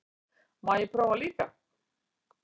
Má ég prófa líka!